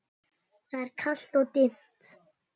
Það er kalt og dimmt.